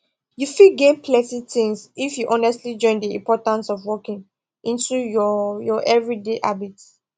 you fit gain plenty things if you honestly join the importance of walking into your your everyday habits